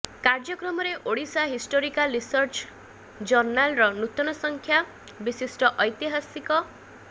କାର୍ଯ୍ୟକ୍ରମରେ Odisha historical research ଜର୍ଣ୍ଣାଲ୍ର ନୂତନ ସଂଖ୍ୟା ବିଶିଷ୍ଟ ଐତିହାସିକ ଡ